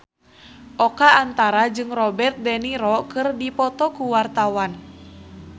Oka Antara jeung Robert de Niro keur dipoto ku wartawan